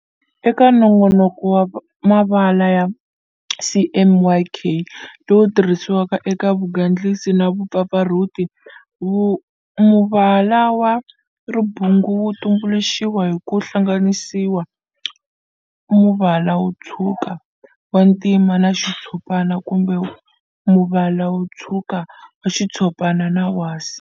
Eka nongonoko wa mavala wa CMYK lowu tirhisiwaka eka vugandlisi na vupfapfarhuti, muvala wa ribungu wu tumbuluxiwa hi ku hlanganisa muvala wo tshwuka, wa ntima na xitshopana, kumbe muvala wo tshwuka, wa xitshopana na wa wasi.